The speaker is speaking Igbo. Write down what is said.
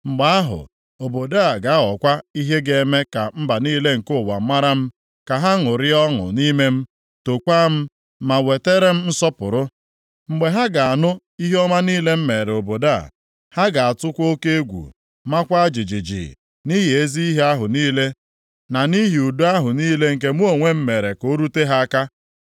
Mgbe ahụ, obodo a ga-aghọkwa ihe ga-eme ka mba niile nke ụwa mara m, ka ha ṅụrịa ọṅụ nʼime m, tookwa m, ma wetara m nsọpụrụ, mgbe ha ga-anụ ihe ọma niile m meere obodo a. Ha ga-atụkwa oke egwu, maakwa jijiji, nʼihi ezi ihe ahụ niile na nʼihi udo ahụ niile nke mụ onwe m mere ka o rute ha aka.’